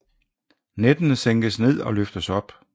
Nettene sænkes ned og løftes op